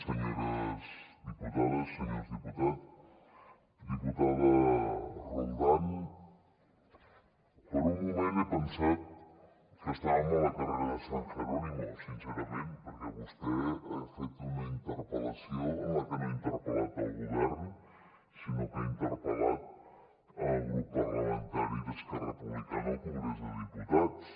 senyores diputades senyors diputats diputada roldán per un moment he pensat que estàvem al carrer de san jerónimo sincerament perquè vostè ha fet una interpel·lació en la que no ha interpel·lat el govern sinó que ha interpel·lat el grup parlamentari d’esquerra republicana al congrés dels diputats